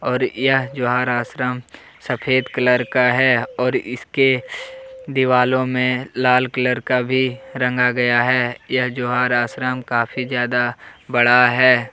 और यह जवाहर आश्रम सफेद कलर का है और इसके दीवालों में लाल कलर का भी रंग गया है यह जवाहर आश्रम काफी ज्यादा बड़ा है।